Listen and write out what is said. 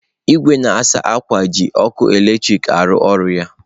Igwe na-asa akwa ji ọkụ eletrik a-arụ ọrụ ya.